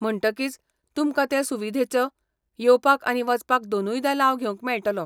म्हणटकीच तुमकां ते सुविधेचो येवपाक आनी वचपाक दोनूयदां लाव घेवंक मेळटलो.